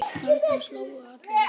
Þarna slógu allir í gegn.